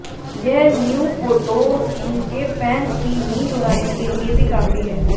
यह new photo उनके fans की नींद उड़ाने के लिए भी काफी है